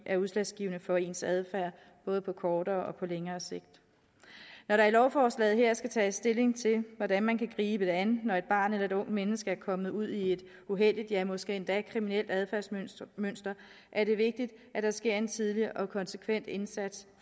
er udslagsgivende for ens adfærd både på kortere og på længere sigt når der i lovforslaget her skal tages stilling til hvordan man kan gribe det an når et barn eller et ungt menneske er kommet ud i et uheldigt ja måske endda kriminelt adfærdsmønster er det vigtigt at der sker en tidlig og konsekvent indsats